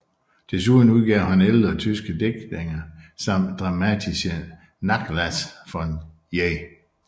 Desuden udgav han ældre tyske digtninge samt Dramatischer Nachlass von J